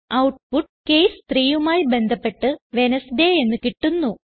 output case 3യുമായി ബന്ധപ്പെട്ട് Wednesday എന്ന് കിട്ടുന്നു